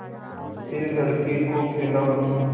फिर लड़के को खेलाऊँ